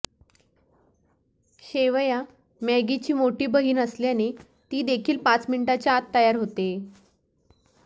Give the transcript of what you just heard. शेवया मॅगी ची मोठी बहीण असल्याने ती देखील पाच मिनिटाच्या आत तयार होते